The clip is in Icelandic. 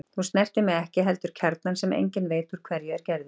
Þú snertir mig ekki heldur kjarnann sem enginn veit úr hverju er gerður.